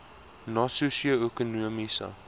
na sosio ekonomiese